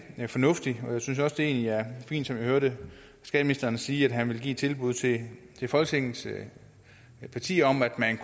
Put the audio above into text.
fornuftigt jeg synes også det er fint som jeg hørte skatteministeren sige at han vil give et tilbud til folketingets partier om at man